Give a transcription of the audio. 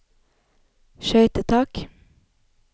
skøytetak